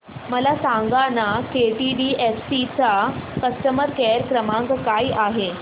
मला सांगाना केटीडीएफसी चा कस्टमर केअर क्रमांक काय आहे